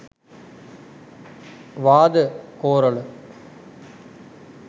වාද කොරල.